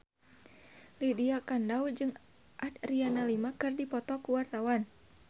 Lydia Kandou jeung Adriana Lima keur dipoto ku wartawan